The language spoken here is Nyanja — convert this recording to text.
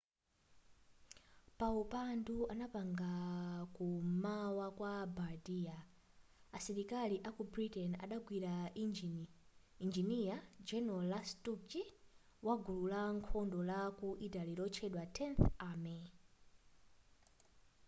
paupandu anapanga ku m'mawa kwa bardia asilikakali aku britain adagwira injiniya general lastucci wa gulu la nkhondo la ku italy lotchedwa tenth army